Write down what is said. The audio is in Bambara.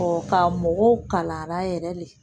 ka mɔgɔw kala la yɛrɛ de